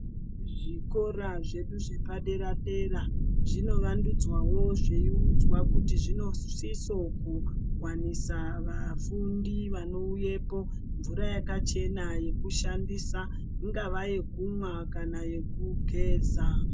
Zvikora zvedu zvepadera dera ,zvinovandudzwawo ,zviyiudzwa kuti zvinosisoku kuwanisa vafundi vanowuyepo mvura yakachena yekushandisa ,ingava yekunwa kana yekugeza.